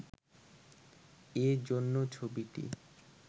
এজন্য ছবিটি